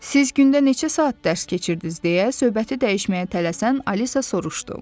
Siz gündə neçə saat dərs keçirdiniz, deyə söhbəti dəyişməyə tələsən Alisa soruşdu.